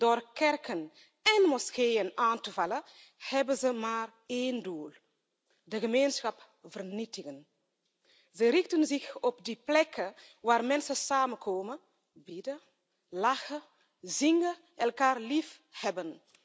Door kerken en moskeeën aan te vallen hebben ze maar één doel de gemeenschap vernietigen. Ze richten zich op die plekken waar mensen samenkomen, bidden, lachen, zingen en elkaar liefhebben.